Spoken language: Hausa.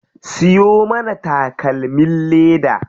Siyo mana takalmin leda.